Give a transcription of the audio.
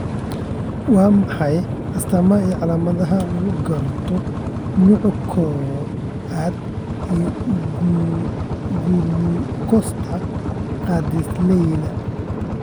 Waa maxay astamaha iyo calaamadaha lagu garto nooca kow-aad ee gulukoosta gaadiidleyda?